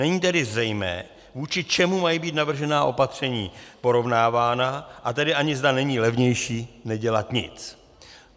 Není tedy zřejmé, vůči čemu mají být navržená opatření porovnávána, a tedy ani, zda není levnější nedělat nic.